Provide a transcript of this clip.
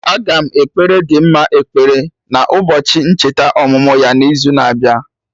Aga m ekpere Dimma ekpere na ụbọchị ncheta ọmụmụ ya na izu na-abịa